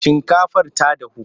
Shinkafar ta dahu?